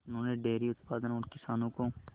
उन्होंने डेयरी उत्पादन और किसानों को